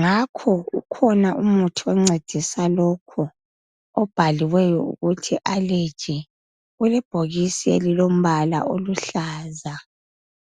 ngakho ukhona umuthi oncedisa lokhu obhaliweyo ukuthi allergy ulebhokisi elilombala oluhlaza